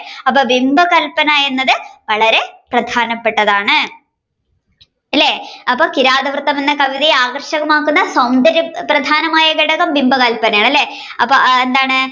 അപ്പൊ ബിംബകല്പന എന്നത് വളരെ പ്രധാനപെട്ടതാണ് അല്ലെ അപ്പൊ കിരാതവൃത്തം എന്ന കവിതയെ ആകര്ഷകമാക്കുന്ന സൗന്ദര്യം പ്രധാനമായ ഘടകം ബിംബകല്പന ആണ് അല്ലെ അപ്പൊ എന്താണ്